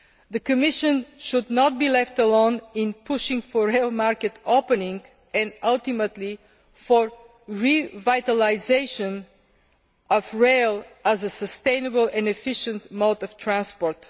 The Commission should not be left alone in pushing for rail market opening and, ultimately, for the revitalisation of rail as a sustainable and efficient mode of transport.